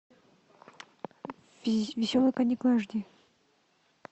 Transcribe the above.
веселые каникулы аш ди